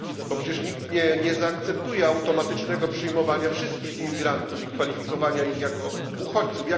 Przecież nikt nie zaakceptuje automatycznego przyjmowania wszystkich imigrantów i kwalifikowania ich jako uchodźców.